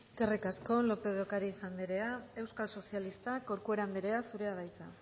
eskerrik asko lópez de ocariz andrea euskal sozialistak corcuera andrea zurea da hitza